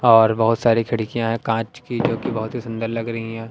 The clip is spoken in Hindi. और बहुत सारी खिड़कियां है कांच की जोकि बहोत ही सुंदर लग रही हैं।